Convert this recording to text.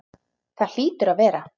Það hlýtur að vera.